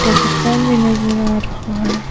Telephone भी नजर आ रहा है।